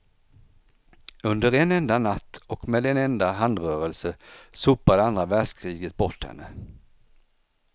Under en enda natt och med en enda handrörelse sopade andra världskriget bort henne.